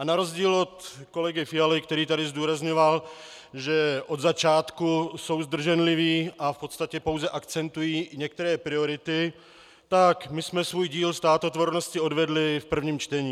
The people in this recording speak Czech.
A na rozdíl od kolegy Fialy, který tady zdůrazňoval, že od začátku jsou zdrženliví a v podstatě pouze akcentují některé priority, tak my jsme svůj díl státotvornosti odvedli v prvním čtení.